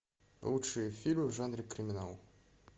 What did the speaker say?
лучшие фильмы в жанре криминал